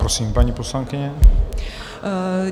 Prosím, paní poslankyně.